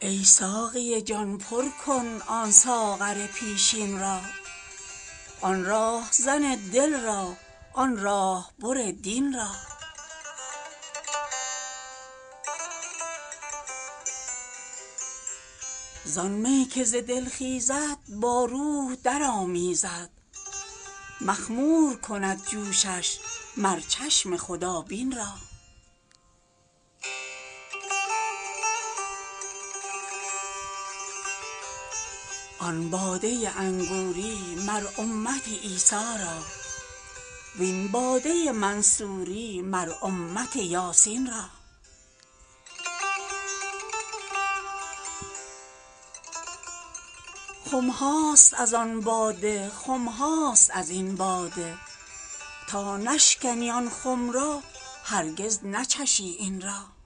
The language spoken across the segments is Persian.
ای ساقی جان پر کن آن ساغر پیشین را آن راهزن دل را آن راه بر دین را زان می که ز دل خیزد با روح درآمیزد مخمور کند جوشش مر چشم خدابین را آن باده انگوری مر امت عیسی را و این باده منصوری مر امت یاسین را خم هاست از آن باده خم هاست از این باده تا نشکنی آن خم را هرگز نچشی این را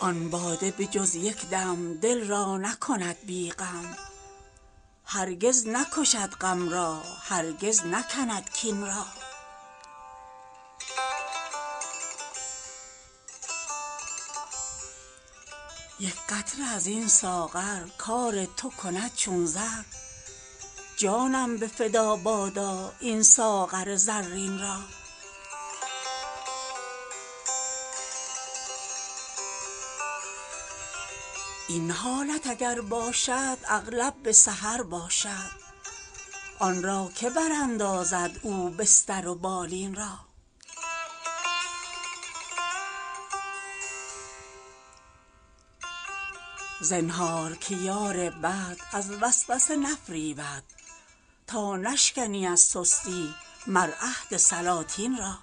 آن باده به جز یک دم دل را نکند بی غم هرگز نکشد غم را هرگز نکند کین را یک قطره از این ساغر کار تو کند چون زر جانم به فدا باشد این ساغر زرین را این حالت اگر باشد اغلب به سحر باشد آن را که براندازد او بستر و بالین را زنهار که یار بد از وسوسه نفریبد تا نشکنی از سستی مر عهد سلاطین را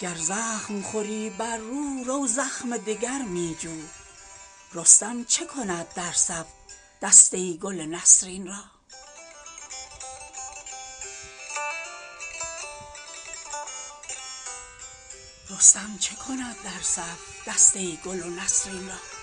گر زخم خوری بر رو رو زخم دگر می جو رستم چه کند در صف دسته گل و نسرین را